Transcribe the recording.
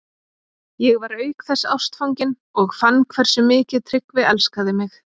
Ég var auk þess ástfangin og fann hversu mikið Tryggvi elskaði mig.